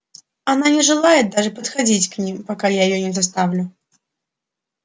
она не желает даже подходить к ним пока я её не заставлю